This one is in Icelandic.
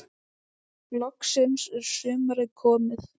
Loksins er sumarið komið.